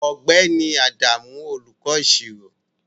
Ọ̀gbẹ́ni Adamu olùkọ́ Ìṣirò